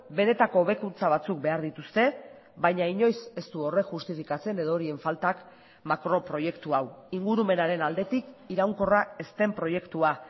benetako hobekuntza batzuk behar dituzte baina inoiz ez du horrek justifikatzen edo horien faltak makroproiektu hau ingurumenaren aldetik iraunkorra ez den proiektua